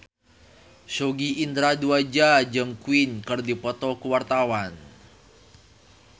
Sogi Indra Duaja jeung Queen keur dipoto ku wartawan